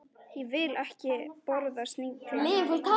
Ég vil ekki borða snigla.